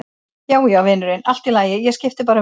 Já, já, vinurinn, allt í lagi, ég skipti bara um vegg.